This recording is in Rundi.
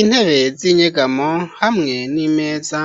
Intebe z'inyegamo, hamwe n'imeza;